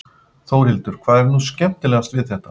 Þórhildur: Hvað er nú skemmtilegast við þetta?